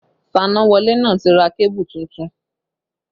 Fanáwọlé náà ti ra kébù tuntun